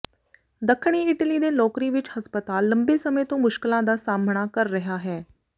ਦੱਖਣੀ ਇਟਲੀ ਦੇ ਲੋਕਰੀ ਵਿਚ ਹਸਪਤਾਲ ਲੰਬੇ ਸਮੇਂ ਤੋਂ ਮੁਸ਼ਕਲਾਂ ਦਾ ਸਾਹਮਣਾ ਕਰ ਰਿਹਾ ਹੈ